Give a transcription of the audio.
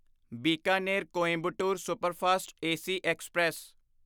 Bikaner Coimbatore superfast AC express